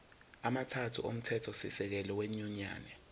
amathathu omthethosisekelo wenyunyane